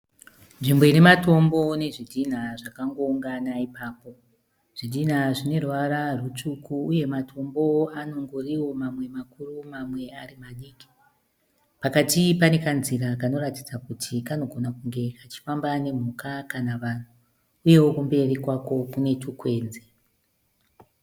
Nzvimbo ine matombo nezvidhinha zvakangoungana ipapo. Zvidhinha zvine ruvara rutsvuku. Uye matombo anongoriwo mamwe makuru mamwe ari madiki. Pakati pane kanzira kanoratidza kuti kanogona kunge kachifamba nemhuka kana vanhu. Uyewo kumberi kwako kune tukwenzi.